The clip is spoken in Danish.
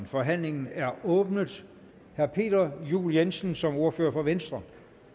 forhandlingen er åbnet herre peter juel jensen som ordfører for venstre